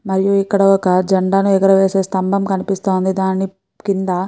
మరియు ఇక్కడ జెండా ఎగురవేసే స్తంభం కనిపిస్తోంది దాని కింద --